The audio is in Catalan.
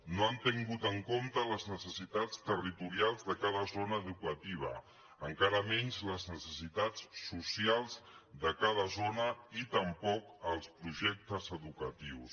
no han tingut en compte les necessitats territorials de cada zona educativa encara menys les necessitats socials de cada zona i tampoc els projectes educatius